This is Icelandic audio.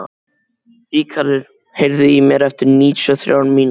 Ríkarður, heyrðu í mér eftir níutíu og þrjár mínútur.